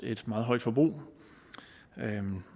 et meget højt forbrug